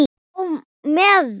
Á meðan